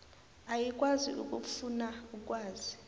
ayikwazi ukufuna ukwazi